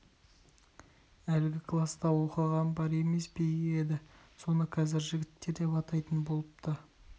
әлгі класта оқыған бар емес пе еді соны қазір жігіттер деп атайтын болыпты